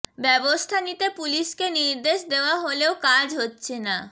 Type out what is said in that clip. ব্যবস্থা নিতে পুলিশকে নির্দেশ দেওয়া হলেও কাজ হচ্ছে না